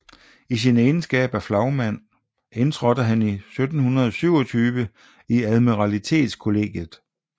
I sin egenskab af flagmand indtrådte han 1727 i Admiralitetskollegiet